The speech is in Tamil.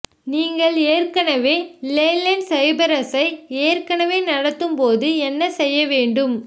நீங்கள் ஏற்கனவே லேலேண்ட் சைப்ரஸை ஏற்கனவே நடாத்தும்போது என்ன செய்ய வேண்டும்